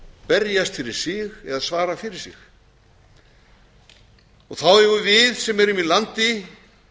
berjast fyrir sig eða svara fyrir sig þá eigum við sem erum í landi